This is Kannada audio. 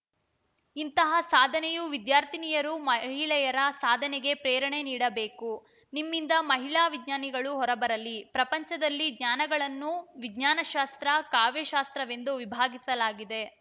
ಇಂತಹ ಸಾಧನೆಯು ವಿದ್ಯಾರ್ಥಿನಿಯರು ಮಹಿಳೆಯರ ಸಾಧನೆಗೆ ಪ್ರೇರಣೆ ನೀಡಬೇಕು ನಿಮ್ಮಿಂದ ಮಹಿಳಾ ವಿಜ್ಞಾನಿಗಳು ಹೊರಬರಲಿ ಪ್ರಪಂಚದಲ್ಲಿ ಜ್ಞಾನಗಳನ್ನು ವಿಜ್ಞಾನ ಶಾಸ್ತ್ರ ಕಾವ್ಯ ಶಾಸ್ತ್ರವೆಂದು ವಿಭಾಗಿಸಲಾಗಿದೆ